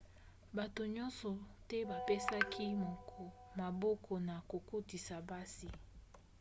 bato nyonso te bapesaki maboko na kokotisa basi